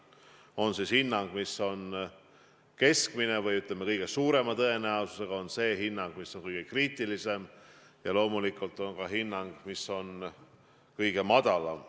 On hinnang, mis on keskmine, kõige suurema tõenäosusega on see hinnang, mis on kõige kriitilisem, ja loomulikult on ka hinnang, mis on kõige madalam.